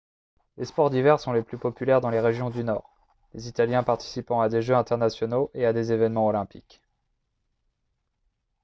les sports d'hiver sont les plus populaires dans les régions du nord les italiens participant à des jeux internationaux et à des événements olympiques